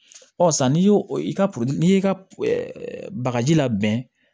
Ɔ san n'i y'o ka n'i y'i ka bagaji labɛn